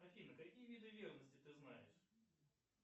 афина какие виды верности ты знаешь